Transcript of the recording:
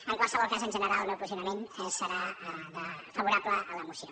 en qualsevol cas en general el meu posicionament serà favorable a la moció